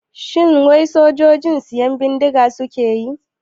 Shin wai sojoji siyan bindiga suke yi?